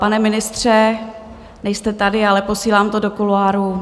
Pane ministře, nejste tady, ale posílám to do kuloárů.